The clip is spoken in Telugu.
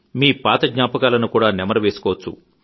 మీ పాత జ్ఞాపకాలను కూడా తాజా చేసుకోవచ్చు